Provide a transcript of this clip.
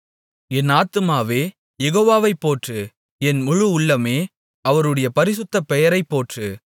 என் ஆத்துமாவே யெகோவாவைப் போற்று என் முழு உள்ளமே அவருடைய பரிசுத்த பெயரைப் போற்று